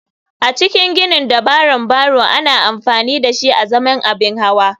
A cikin ginin dabaran barrow ana amfani dashi azaman abin hawa.